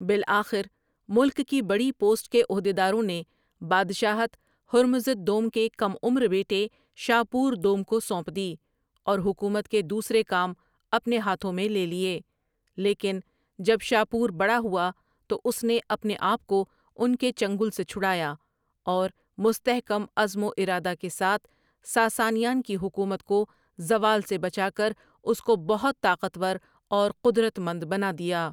بالآخر ملک کی بڑی پوسٹ کے عہدیداروں نے بادشاہت ہرمزد دوم کے کم عمر بیٹے شاپوردوم کو سونپ دی اور حکومت کے دوسرے کام اپنے ہاتھوں میں لے لیے لیکن جب شاپور بڑا ہوا تواس نے اپنے آپ کو ان کے چنگل سے چھڑایا اور مستحکم عزم وارادہ کے ساتھ ساسانیان کی حکومت کو زوال سے بچا کر اس کو بہت طاقتور اورقدرتمند بنا دیا ۔